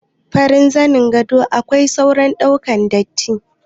Farin zanin gado akwai saurin ɗaukar datti.